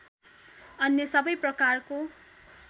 अन्य सबै प्रकारको